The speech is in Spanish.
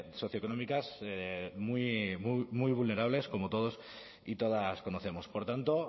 socioeconómicas muy vulnerables como todos y todas conocemos por tanto